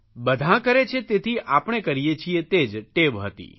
બધાં કરે છે તેથી આપણે કરીએ છીએ તે જ ટેવ હતી